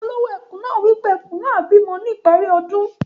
Olowo ekùn naa wipe Ẹkùn naá á bímọ ní ìparí ọdún.